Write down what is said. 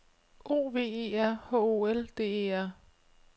O V E R H O L D E R